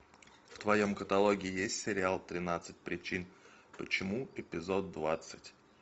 в твоем каталоге есть сериал тринадцать причин почему эпизод двадцать